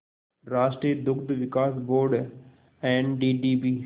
राष्ट्रीय दुग्ध विकास बोर्ड एनडीडीबी